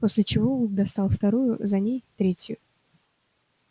после чего вуд достал вторую за ней третью